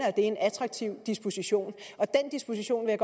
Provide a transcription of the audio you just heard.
er en attraktiv disposition og den disposition vil